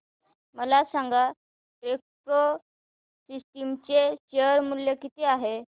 मला सांगा Techpro Systems चे शेअर मूल्य किती आहे